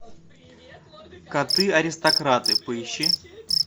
коты аристократы поищи